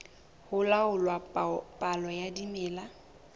ho laola palo ya dimela